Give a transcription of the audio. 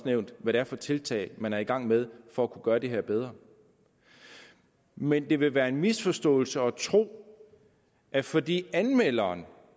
nævnt hvad det er for tiltag man er i gang med for at kunne gøre det her bedre men det vil være en misforståelse at tro at fordi anmelderen